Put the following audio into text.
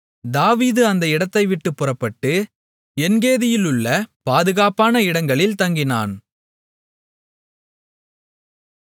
தாவீது அந்த இடத்தைவிட்டுப் புறப்பட்டு என்கேதியிலுள்ள பாதுகாப்பான இடங்களில் தங்கினான்